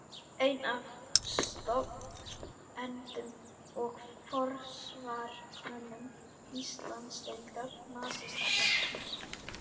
Einn af stofnendum og forsvarsmönnum Íslandsdeildar Nasistaflokksins.